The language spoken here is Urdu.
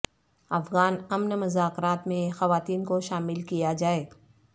افغان امن مذاکرات میں خواتین کو شامل کیا جائے